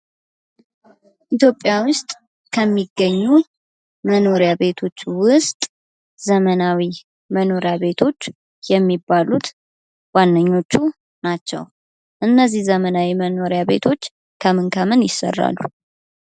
ኢትዮጵያ ውስጥ ከሚገኙ መኖሪያ ቤቶች ውስጥ ዘመናዊ መኖሪያ ቤቶች የሚባሉት ዋነኞቹ ናቸውደ። እነዚህ ዘመናዊ መኖሪያ ቤቶች ከምን ከምን ይሰራሉ?